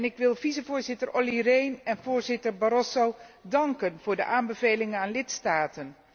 Ik wil vicevoorzitter Olli Rehn en voorzitter Barroso danken voor de aanbevelingen aan lidstaten.